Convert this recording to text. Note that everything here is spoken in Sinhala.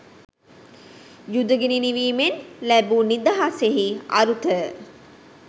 යුද ගිනි නිවීමෙන් ලැබූ නිදහසෙහි අරුත